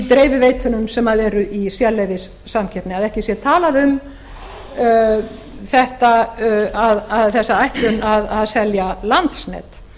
dreifiveitunum sem eru í sérleyfissamkeppni að ekki sé talað um þessa ætlun að selja landsnet